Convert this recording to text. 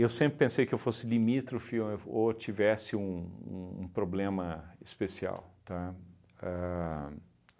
Eu sempre pensei que eu fosse limítrofe ou f ou tivesse um um um problema especial, tá? Ahn